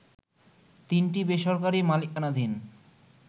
তিনটি বেসরকারি মালিকানাধীন